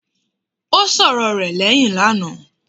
Ó sọ̀rọ rẹ̀ lẹ́hìn lánàá.